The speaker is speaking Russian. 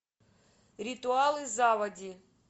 ритуалы заводи